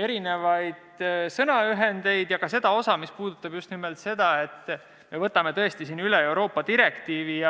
erinevaid sõnaühendeid ja puudutavad just nimelt seda, et me võtame üle Euroopa direktiivi.